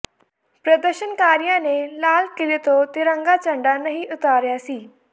ਪ੍ਰਦਰਸ਼ਨਕਾਰੀਆਂ ਨੇ ਲਾਲ ਕਿਲ੍ਹੇ ਤੋਂ ਤਿਰੰਗਾ ਝੰਡਾ ਨਹੀਂ ਉਤਾਰਿਆ ਸੀ